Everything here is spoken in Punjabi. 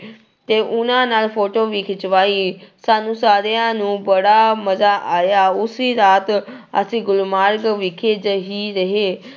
ਤੇ ਉਹਨਾਂ ਨਾਲ photo ਵੀ ਖਿਚਵਾਈ, ਸਾਨੂੰ ਸਾਰਿਆਂ ਨੂੰ ਬੜਾ ਮਜ਼ਾ ਆਇਆ ਉਸੀ ਰਾਤ ਅਸੀਂ ਗੁਲਮਾਰਗ ਵਿਖੇ ਜਿਹੀ ਰਹੇ।